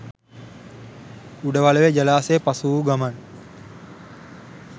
උඩවලවේ ජලාශය පසුවූ ගමන්